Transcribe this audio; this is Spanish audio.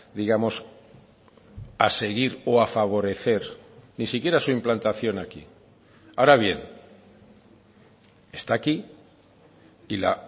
digamos a seguir o a favorecer ni siquiera su implantación aquí ahora bien está aquí y la